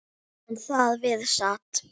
En þar við sat.